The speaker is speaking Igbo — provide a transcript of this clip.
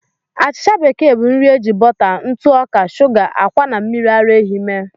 Achịcha bekee bụ nri eji bọta, ntụ ọka, shuga, ákwà, na mmiri ara ehi mee.